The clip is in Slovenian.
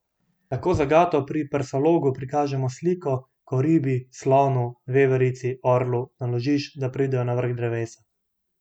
Tako zagato pri Persologu prikažemo s sliko, ko ribi, slonu, veverici, orlu naložiš, da pridejo na vrh drevesa.